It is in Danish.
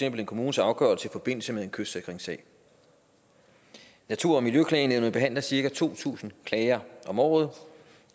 en kommunes afgørelse i forbindelse med en kystsikringssag natur og miljøklagenævnet behandler cirka to tusind klager om året